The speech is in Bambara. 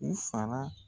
U fara